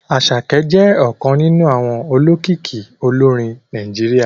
Àṣàkẹ́ jẹ́ ọ̀kan nínú àwọn olókìkí olórin Nàìjíríà